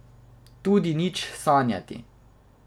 Tudi nič sanjati.